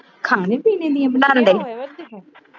ਖਾਣੇ-ਪੀਣੇ ਦੀਆਂ